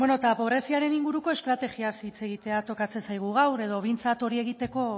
beno eta pobreziaren inguruko estrategiaz hitz egitea tokatzen zaigu gaur edo behintzat hori egiteko